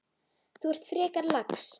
Þú ert frekar lax.